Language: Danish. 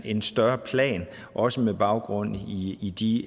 en større plan også med baggrund i de